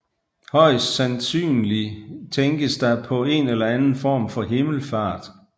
Højst sandsynlig tænkes der på en eller anden form for himmelfart